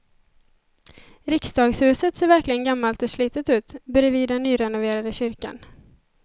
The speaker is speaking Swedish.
Riksdagshuset ser verkligen gammalt och slitet ut bredvid den nyrenoverade kyrkan.